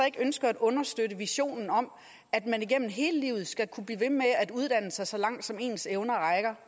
ikke ønsker at understøtte visionen om at man igennem hele livet skal kunne blive ved med at uddanne sig så langt som ens evner